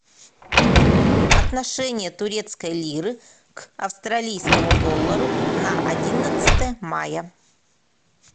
отношение турецкой лиры к австралийскому доллару на одиннадцатое мая